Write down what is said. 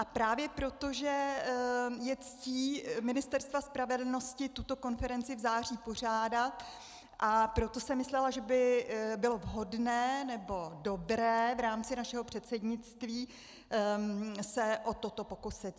A právě proto, že je ctí Ministerstva spravedlnosti tuto konferenci v září pořádat, proto jsem myslela, že by bylo vhodné nebo dobré v rámci našeho předsednictví se o toto pokusit.